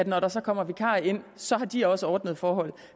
når der så kommer vikarer ind så har de også ordnede forhold